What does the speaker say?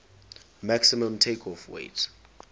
maximum takeoff weight